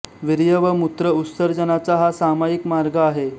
वीर्य व मूत्र उत्सर्जनाचा हा समाईक मार्ग आहे